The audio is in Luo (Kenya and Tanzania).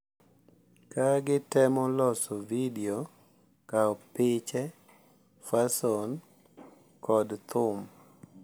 Ka gitemo loso vidio, kawo piche, fason, kod thum.